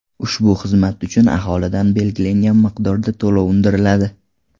Ushbu xizmat uchun aholidan belgilangan miqdorda to‘lov undiriladi.